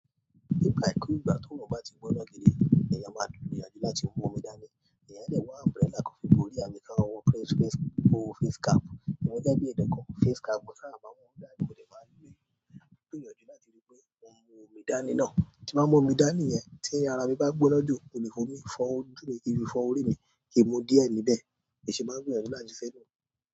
Ní ìgbàkúgbà tó run bá ti gbóná gidi, èèyàn máa gbìyànjú láti mú omi dání. Èèyàn lè wá umbrella kan fi borí àbí ká wọ face, wò face cap. Èmi gẹ́gẹ́ bí ẹnìkan, face cap kò sábà bá wọn hù dání, mo dẹ̀ máa rí ńlá. Mo gbìyànjú láti rí pé mo mú omi dání náà. Tí máa mọ omi dání yẹn, tí ara mi bá gbóná jù, kò lè fọ́ omi, fọ́ ojú mi, kín fi fọ́ orí mi, kì í mú díẹ̀ níbẹ̀. Kì í ṣe máa gbìyànjú láti fẹ́ dùn.